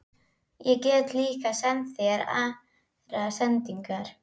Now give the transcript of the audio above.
Ég get líka sent þeim aðrar sendingar!